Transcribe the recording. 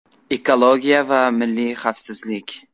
Ekologiya va milliy xavfsizlik.